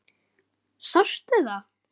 Sástu það?